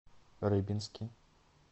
рыбинске